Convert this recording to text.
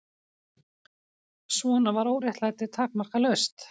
Svona var óréttlætið takmarkalaust.